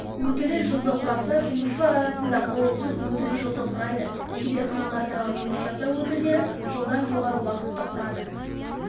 өтілі жылды құраса жұмысшылар арасында қауіпсіз өтіл жылды құрайды шеберханалардағы жұмыс жасау өтілдері жылдан жоғары уақытты құрады